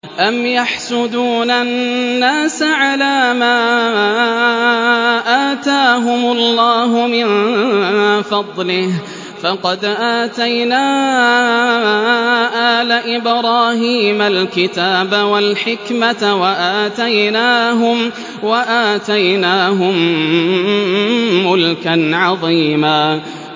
أَمْ يَحْسُدُونَ النَّاسَ عَلَىٰ مَا آتَاهُمُ اللَّهُ مِن فَضْلِهِ ۖ فَقَدْ آتَيْنَا آلَ إِبْرَاهِيمَ الْكِتَابَ وَالْحِكْمَةَ وَآتَيْنَاهُم مُّلْكًا عَظِيمًا